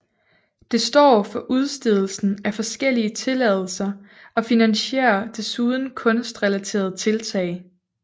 Det står for udstedelsen af forskellige tilladelser og finansierer desuden kunstrelaterede tiltag